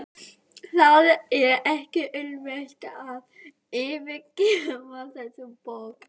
Það er ekki auðvelt að yfirgefa þessa borg.